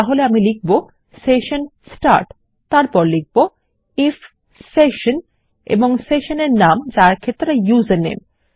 তাহলে আমি লিখব সেশন স্টার্ট তারপর লিখব আইএফ সেশন এবং সেশন নাম যা এক্ষেত্রে ইউজারনেম